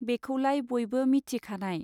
बेखौलाय बयबो मिथिखानाय.